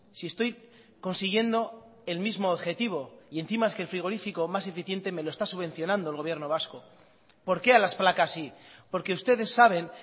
si estoy consiguiendo el mismo objetivo y encima es que el frigorífico más eficiente me lo está subvencionando el gobierno vasco por qué a las placas sí porque ustedes saben